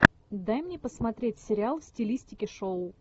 дай мне посмотреть сериал в стилистике шоу